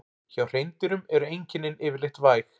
Hjá hreindýrum eru einkennin yfirleitt væg.